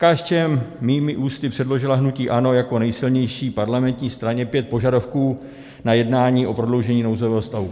KSČM mými ústy předložila hnutí ANO jako nejsilnější parlamentní straně pět požadavků na jednání o prodloužení nouzového stavu.